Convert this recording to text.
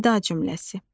Nida cümləsi.